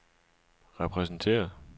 repræsenteret